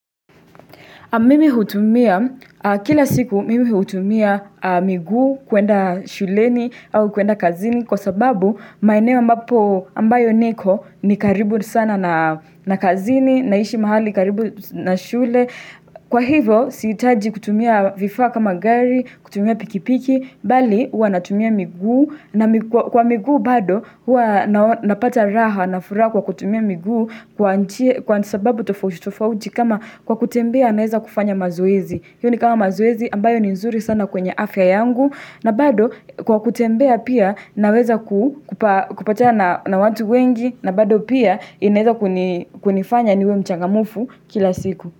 Mimi hutumia miguu kila siku kwenda shuleni au kwenda kazini, kwa sababu eneo ambalo niko ni karibu sana na kazini. Ninaishi mahali karibu na shule. Kwa hivyo sihitaji kutumia vifaa kama gari, kutumia pikipiki, bali huwa natumia miguu, na kwa miguu bado huwa napata raha na furaha kwa kutumia miguu. Kwa nija, kwa sababu tofauti tofauti kama kwa kutembea naweza kufanya mazoezi ambayo ni nzuri sana kwenye afya yangu, na bado kwa nchie, kwa nchie, kwa nchie, kwa nchie, kwa nchie, kwa nchie, kwa nchie, kwa nchie, kwa nchie, kwa nchie, kwa nchie, kwa nchie, kwa nchie, kwa nchie, kwa nchie, kwa nchie, kwa nchie, k.